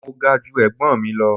Mo ga ju ẹ̀gbọ́n mi lọ.